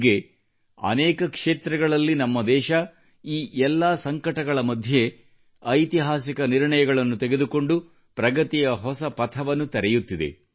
ಹೀಗೆ ಅನೇಕ ಕ್ಷೇತ್ರಗಳಲ್ಲಿ ನಮ್ಮ ದೇಶವು ಈ ಎಲ್ಲಾ ಸಂಕಟಗಳ ಮಧ್ಯೆ ಐತಿಹಾಸಿಕ ನಿರ್ಣಯಗಳನ್ನು ತೆಗೆದುಕೊಂಡು ಪ್ರಗತಿಯ ಹೊಸ ಪಥವನ್ನು ತೆರೆಯುತ್ತಿದೆ